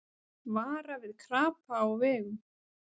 Vara við krapa á vegum